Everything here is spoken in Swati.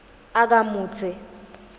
akamudze